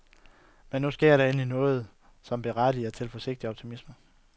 Men nu sker der endelig noget, som berettiger til forsigtig optimisme.